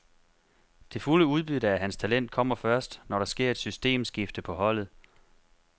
Det fulde udbytte af hans talent kommer først, når der sker et systemskifte på holdet.